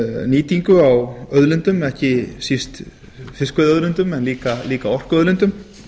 nýtingu á auðlindum ekki síst fiskveiðiauðlindum en líka orkuauðlindum